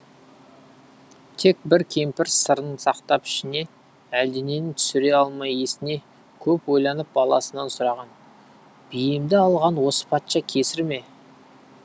тек бір кемпір сырын сақтап ішіне әлденені түсіре алмай есіне көп ойланып баласынан сұраған биемді алған осы патша кесір ме